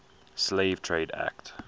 slave trade act